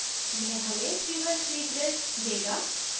यह हमें 3 by 3 grid देगा